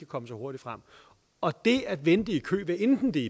komme så hurtigt frem og det at vente i kø hvad enten det